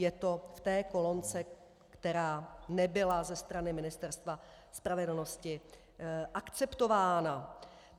Je to v té kolonce, která nebyla ze strany Ministerstva spravedlnosti akceptována.